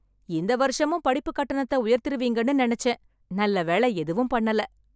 இந்த வருஷமும் படிப்புக் கட்டணத்த உயர்த்திருவீங்கன்னு நினச்சேன், நல்ல வேளை எதுவும் பண்ணல.